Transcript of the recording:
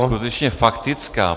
Skutečně faktická.